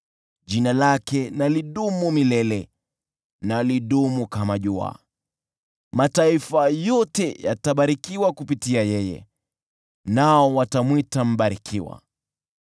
Jina lake na lidumu milele, na lidumu kama jua. Mataifa yote yatabarikiwa kupitia kwake, nao watamwita aliyebarikiwa.